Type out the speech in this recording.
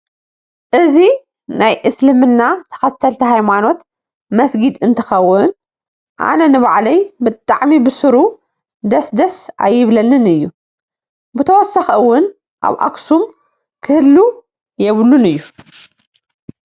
እዚ ናይ እስልምና ተከተልት ሃይማኖት መሰግድ አንትከውን አነ ነባዐለይ ብጣዓጠም ብሰሩ ደሰደሰ አይብለኒን አዩ። ብተወሳክ እውን አብ አክሰም ክህልው የብሉን ኦዩ።